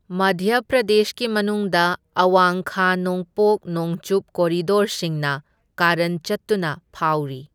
ꯃꯙ꯭ꯌ ꯄ꯭ꯔꯗꯦꯁꯀꯤ ꯃꯅꯨꯡꯗ ꯑꯋꯥꯡ ꯈꯥ ꯅꯣꯡꯄꯣꯛ ꯅꯣꯡꯆꯨꯞ ꯀꯣꯔꯤꯗꯣꯔꯁꯤꯡꯅ ꯀꯥꯔꯟ ꯆꯠꯇꯨꯅ ꯐꯥꯎꯔꯤ꯫